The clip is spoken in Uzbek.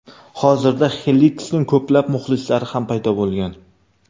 Hozirda Xeliksning ko‘plab muxlislari ham paydo bo‘lgan.